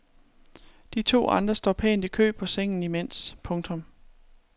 De to andre står pænt i kø på sengen imens. punktum